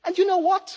And you know